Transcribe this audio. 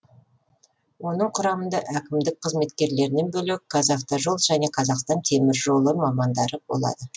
оның құрамында әкімдік қызметкерлерінен бөлек қазавтожол мен қазақстан теміржол мамандары болады